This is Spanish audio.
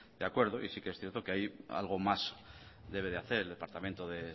de acuerdo y sí que es cierto que ahí algo más debe de hacer el departamento de